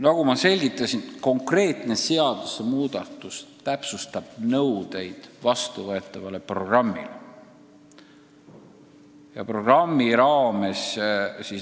Nagu ma selgitasin, konkreetne seadusmuudatus täpsustab nõudeid vastuvõetavale programmile.